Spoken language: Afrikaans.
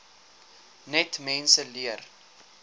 net mense leer